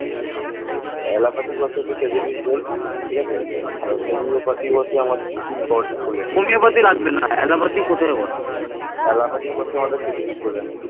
এই সময় বাংলাতে বহু ক্ষুদ্র ক্ষুদ্র রাজ্যের সৃষ্টি হয়